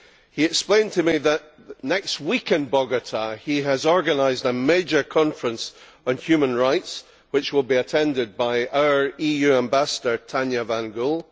He explained to me that next week in Bogotá he has organised a major conference on human rights, which will be attended by our EU Ambassador Tanya van Gool.